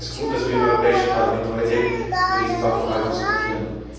Deswegen ist es gut, dass wir im Europäischen Parlament heute über diesen Sachverhalt diskutieren.